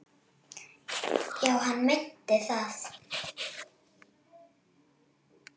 Já, hann meinti það.